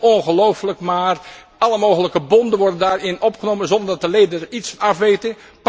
Het is ongelooflijk, maar alle mogelijke bonden worden daarin opgenomen zonder dat de leden er iets van af weten.